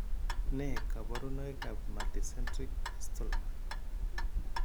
Nee kabarunoikab Multicentric Castleman?